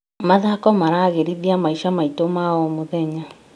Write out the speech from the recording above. Mathako maragĩrithia maica maitũ ma o mũthenya.